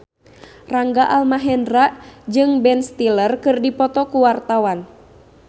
Rangga Almahendra jeung Ben Stiller keur dipoto ku wartawan